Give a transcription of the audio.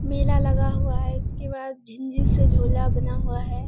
मेला लगा हुआ है इसके बाद झिंझिर से झूला बना हुआ है।